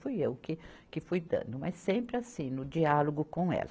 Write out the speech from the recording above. Fui eu que, que fui dando, mas sempre assim, no diálogo com ela.